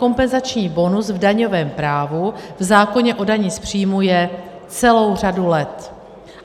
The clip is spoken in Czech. Kompenzační bonus v daňovém právu, v zákoně o dani z příjmů, je celou řadu let.